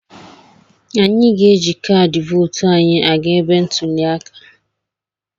Anyị ga-eji kaadị vootu anyị aga ebe ntuli aka.